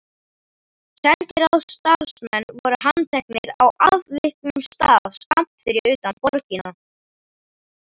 Sendiráðsstarfsmennirnir voru handteknir á afviknum stað skammt fyrir utan borgina.